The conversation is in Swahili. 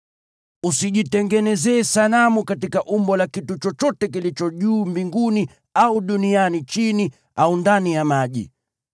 Usijitengenezee sanamu katika umbo la kitu chochote kilicho juu mbinguni au duniani chini au ndani ya maji.